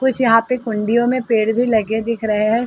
कुछ यहाँ पे (पर) कुण्डियों में पेड़ भी लगे दिख रहे है।